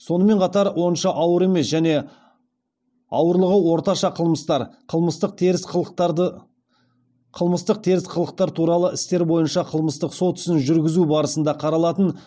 сонымен қатар онша ауыр емес және ауырлығы орташа қылмыстар қылмыстық теріс қылықтар туралы істер бойынша қылмыстық сот ісін жүргізу барысында қаралатын